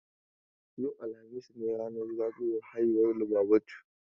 Yau, alhamis ne ranar zagayowan haihuwa Lubabatu.